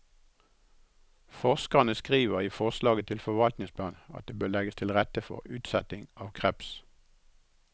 Forskerne skriver i forslaget til forvaltningsplan at det bør legges til rette for utsetting av kreps.